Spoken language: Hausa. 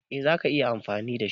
Eh zaka iya amfani da shi.